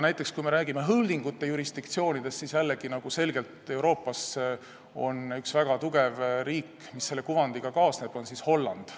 Kui me räägime holding'ute jurisdiktsioonidest, siis jällegi on Euroopas üks väga tugev riik, millega see kuvand kaasneb, see on Holland.